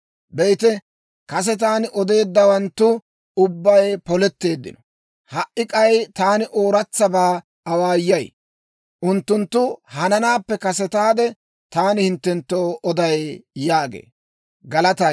Be'ite, kase taani odeeddawanttu ubbay poletteeddino. Ha"i k'ay taani ooratsabaa awaayay; unttunttu hananaappe kasetaade taani hinttenttoo oday» yaagee.